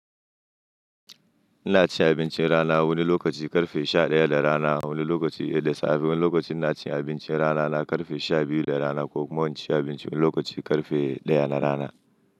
Ina cin abincin rana wani lokaci ƙarfe sha ɗaya na rana, wani lokaci da safe, wani lokaci ina cin abincin rana na ƙarfe sha biyu na rana ko ma ina cin abinci wani lokaci ƙarfe ɗaya na rana.